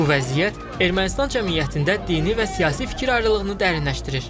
Bu vəziyyət Ermənistan cəmiyyətində dini və siyasi fikir ayrılığını dərinləşdirir.